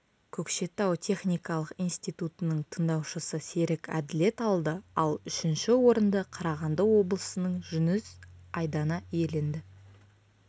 көкшетау техникалық институтының тындаушысы серік әділет алды ал үшінші орынды қарағанды облысының жүніс айдана иеленді